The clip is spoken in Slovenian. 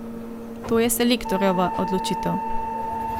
To je selektorjeva odločitev.